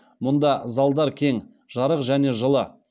мұнда залдар кең жарық және жылы